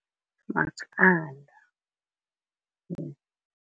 Maqanda.